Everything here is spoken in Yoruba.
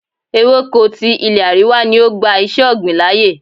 Ewéko ti ilé àríwá ni ó gba iṣé ọ̀gbìn láyè.